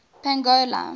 pongola